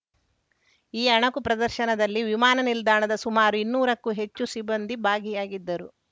ಈ ಅಣುಕು ಪ್ರದರ್ಶನದಲ್ಲಿ ವಿಮಾನ ನಿಲ್ದಾಣದ ಸುಮಾರು ಇನ್ನೂರಕ್ಕೂ ಹೆಚ್ಚು ಸಿಬ್ಬಂದಿ ಭಾಗಿಯಾಗಿದ್ದರು